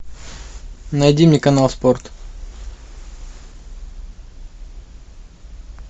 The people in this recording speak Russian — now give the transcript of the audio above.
найди мне канал спорт